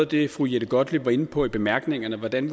det fru jette gottlieb var inde på i bemærkningerne hvordan